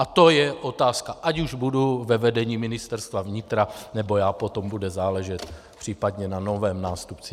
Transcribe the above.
A to je otázka, ať už budu ve vedení Ministerstva vnitra já, nebo potom bude záležet případně na novém nástupci.